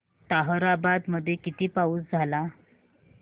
ताहराबाद मध्ये किती पाऊस झाला